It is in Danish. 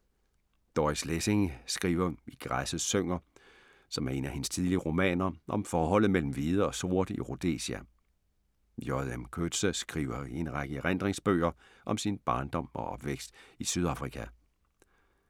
Doris Lessing skriver i Græsset synger, som er en af hendes tidlige romaner, om forholdet mellem hvide og sorte i Rhodesia. J. M. Coetzee skriver i en række erindringsbøger om sin barndom og opvækst i Sydafrika.